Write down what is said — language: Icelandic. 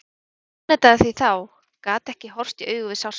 En ég afneitaði því þá, gat ekki horfst í augu við sársaukann.